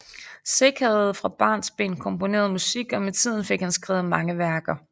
Sick havde fra barnsben komponeret musik og med tiden fik han skrevet mange værker